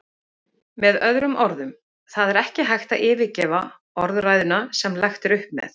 Með öðrum orðum, það er ekki hægt að yfirgefa orðræðuna sem lagt er upp með.